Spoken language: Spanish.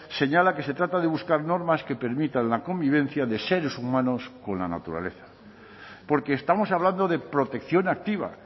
señala que se trata de buscar normas que permitan la convivencia de seres humanos con la naturaleza porque estamos hablando de protección activa